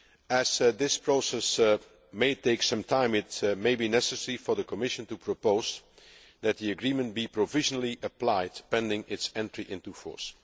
As this process may take some time, it may be necessary for the Commission to propose that the agreement be provisionally applied pending its entry into force.